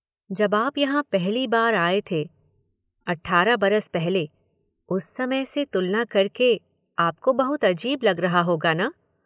जब आप यहां पहली बार आए थे, अठारह बरस पहले, उस समय से तुलना करके आपको बहुत अजीब लग रहा होगा न?